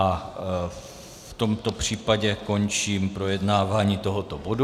A v tomto případě končím projednávání tohoto bodu.